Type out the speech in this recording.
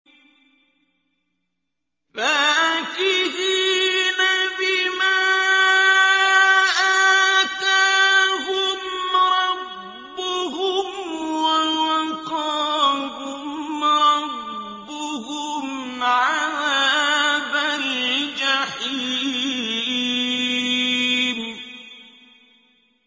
فَاكِهِينَ بِمَا آتَاهُمْ رَبُّهُمْ وَوَقَاهُمْ رَبُّهُمْ عَذَابَ الْجَحِيمِ